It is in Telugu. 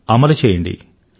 అమలు చేయండి